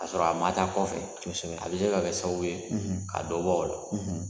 K'a sɔrɔ a ma ta kɔfɛ, a bɛ se ka kɛ sababu ye ka dɔ bɔ o la.